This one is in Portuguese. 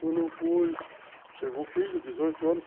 Quando foi chegou o filho, dezoito anos.